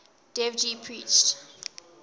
dev ji preached